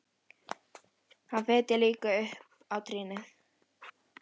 Hann fitjar líka upp á trýnið.